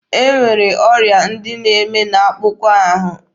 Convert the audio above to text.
E nwere ọrịa ndị na-eme n'akpụkpọ ahụ.